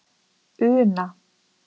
Una